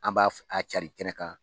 An b'a a carin kɛnɛ kan